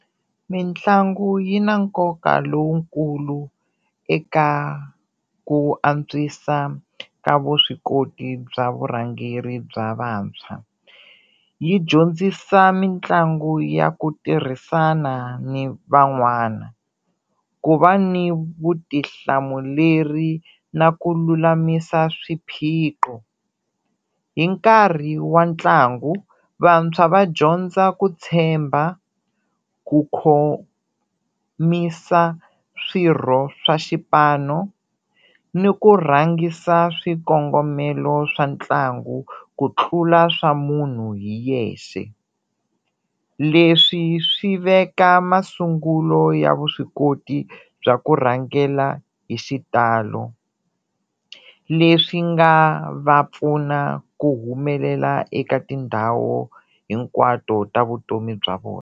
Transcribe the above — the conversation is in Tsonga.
Mitlangu yi na nkoka lowukulu eka ku antswisa ka vuswikoti bya vurhangeri bya vantshwa, yi dyondzisa mitlangu ya ku tirhisana ni van'wana, ku va ni vutihlamuleri na ku lulamisa swiphiqo. Hi nkarhi wa ntlangu vantshwa va dyondza ku tshemba, ku khomisa swirho swa xipano ni ku rhangisa swikongomelo swa ntlangu ku tlula swa munhu hi yexe, leswi swi veka masungulo ya vuswikoti bya ku rhangela hi xitalo, leswi nga va pfuna ku humelela eka tindhawu hinkwato ta vutomi bya vona.